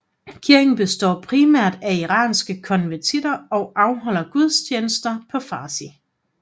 Kirken består primært af iranske konvertitter og afholder gudstjenester på farsi